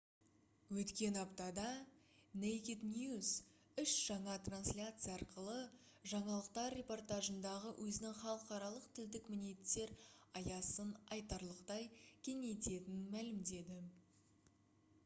өткен аптада naked news үш жаңа трансляция арқылы жаңалықтар репортажындағы өзінің халықаралық тілдік мінеттер аясын айтарлықтай кеңейтетінін мәлімдеді